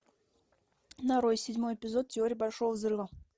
нарой седьмой эпизод теории большого взрыва